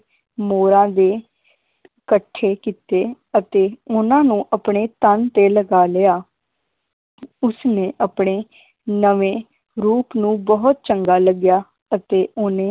ਮੋਰਾਂ ਦੇ ਇਕੱਠੇ ਕੀਤੇ ਅਤੇ ਉਹਨਾਂ ਨੂੰ ਆਪਣੇ ਤਨ ਤੇ ਲਗਾ ਲਿਆ ਉਸਨੇ ਆਪਣੇ ਨਵੇਂ ਰੂਪ ਨੂੰ ਬਹੁਤ ਚੰਗਾ ਲੱਗਿਆ ਅਤੇ ਓਹਨੇ